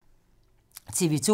TV 2